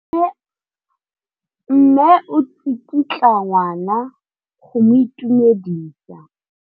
Mme o tsikitla ngwana go mo itumedisa.